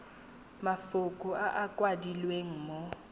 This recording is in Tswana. mafoko a a kwadilweng mo